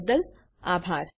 જોડાવા બદ્દલ આભાર